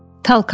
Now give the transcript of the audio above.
Talkav.